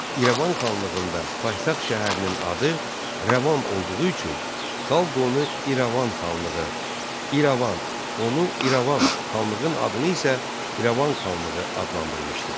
İrəvan xanlığında paytaxt şəhərinin adı Rəvan olduğu üçün xalq onu İrəvan xanlığı, İrəvan, onu İrəvan, xanlığın adını isə İrəvan xanlığı adlandırmışdır.